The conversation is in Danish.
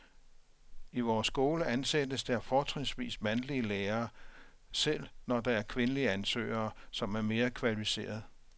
I vores skole ansættes der fortrinsvis mandlige lærere, selv når der er kvindelige ansøgere, som er mere kvalificerede.